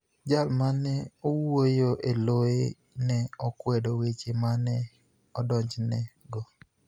Jal ma ni e wuoyo e loye ni e okwedo weche ma ni e idonijoni ego.